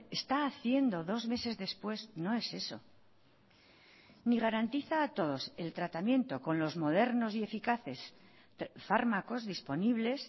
está haciendo dos meses después no es eso ni garantiza a todos el tratamiento con los modernos y eficaces fármacos disponibles